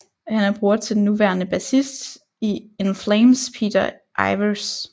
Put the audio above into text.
Han er bror til den nuværende bassist i In Flames Peter Iwers